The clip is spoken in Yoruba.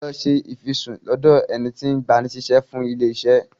Lọ ṣe ìfisùn lọ́dọ̀ ẹni tí ń gbani síṣẹ́ fún ilé-iṣẹ́.